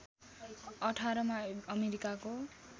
१८ मा अमेरिकाको